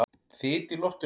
Þyt í loftinu?